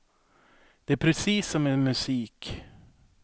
Det är precis som med musik.